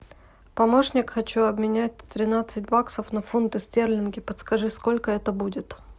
помощник хочу обменять тринадцать баксов на фунты стерлинги подскажи сколько это будет